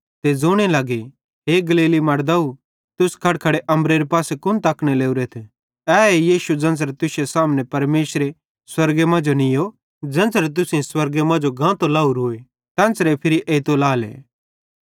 ते ज़ोने लगे हे गलीली मड़दाव तुस खड़खड़े अम्बरेरे पासे कुन तकने लोरेथ एहे यीशु ज़ेन्च़रे तुश्शे सामने परमेशरे स्वर्गे मांजो नीयो ज़ेन्च़रे तुसेईं स्वर्गे मांजो गांतो लाहोरोए तेन्च़रे फिरी एइतो लाएले